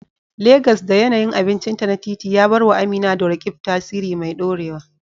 Legas, da yanayin abincinta na titi, ya bar wa Amina da Roqeeb tasiri mai dorewa.